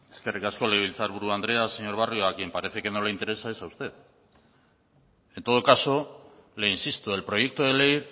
eskerrik asko legebiltzar buru andrea señor barrio a quien parece que no le interesa es a usted en todo caso le insisto el proyecto de ley